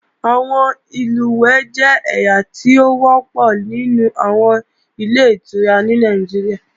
Àwọn ìlùwẹ̀ẹ̀ jẹ́ ẹ̀yà tó wọ́pọ̀ nínú àwọn Ilé-ìtura ní Nàìjíríà